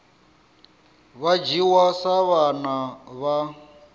vha dzhiwa sa vhana vha